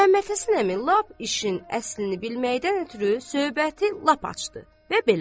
Məmmədhəsən əmi lap işin əslini bilməkdən ötrü söhbəti lap açdı və belə başladı.